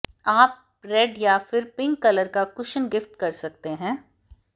आप रेड या फिर पिंक कलर का कुशन गिफ्ट कर सकते हैं